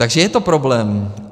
Takže je to problém.